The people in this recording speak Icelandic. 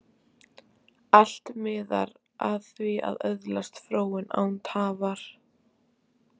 Allt miðar að því að öðlast fróun, án tafar.